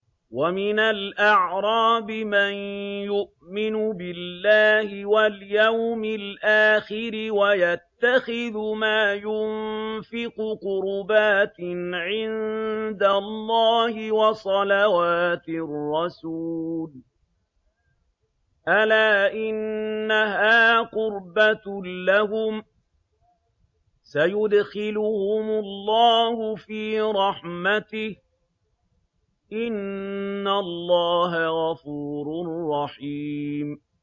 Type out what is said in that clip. وَمِنَ الْأَعْرَابِ مَن يُؤْمِنُ بِاللَّهِ وَالْيَوْمِ الْآخِرِ وَيَتَّخِذُ مَا يُنفِقُ قُرُبَاتٍ عِندَ اللَّهِ وَصَلَوَاتِ الرَّسُولِ ۚ أَلَا إِنَّهَا قُرْبَةٌ لَّهُمْ ۚ سَيُدْخِلُهُمُ اللَّهُ فِي رَحْمَتِهِ ۗ إِنَّ اللَّهَ غَفُورٌ رَّحِيمٌ